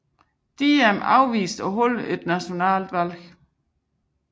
Diem afviste at afholde det nationale valg